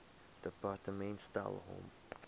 departement stel hom